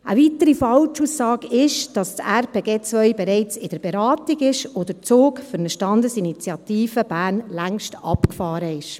Eine weitere Falschaussage ist, dass das RPG 2 bereits in der Beratung ist und der Zug für eine Standesinitiative Bern längstens abgefahren ist.